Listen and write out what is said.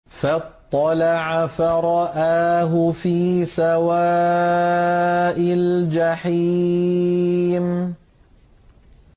فَاطَّلَعَ فَرَآهُ فِي سَوَاءِ الْجَحِيمِ